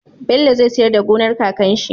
Bello zai siyar da gonar kakan shi